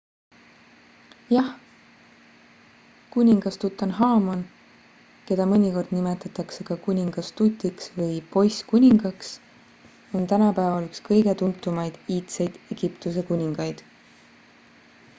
jah kuningas tutanhamon keda mõnikord nimetatakse ka kuningas tutiks või poisskuningaks on tänapäeval üks kõige tuntumaid iidseid egiptuse kuningaid